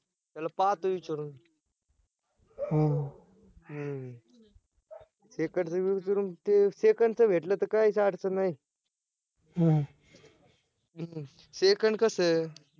त्याला पाहतो विचारून हम्म second च विचारून second चं भेटलं तर काहीच अडचण नाही हम्म second कसं ए